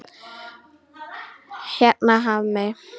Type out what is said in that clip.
Hérna Hafmey.